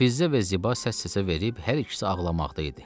Fizzə və Ziba səs-səsə verib hər ikisi ağlamaqda idi.